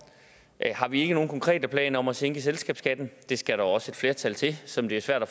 har vi ikke nogen konkrete planer om at sænke selskabsskatten det skal der også et flertal til som det er svært at